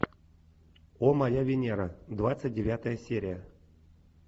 о моя венера двадцать девятая серия